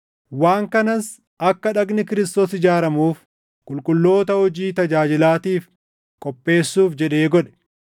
waan kanas akka dhagni Kiristoos ijaaramuuf qulqulloota hojii tajaajilaatiif qopheessuuf jedhee godhe;